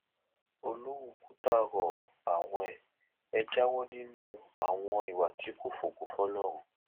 olówú kùtà rọ àwọn e jáwọ nínú àwọn ìwà tí kò fògo fọlọrun